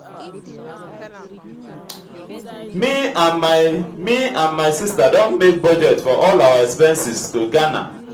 me and my me and my sister don make budget for all our expenses to ghana